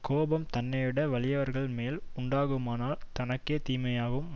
கோபம் தன்னைவிட வலியவர்கள் மேல் உண்டாகுமானால் தனக்கே தீமையாகும்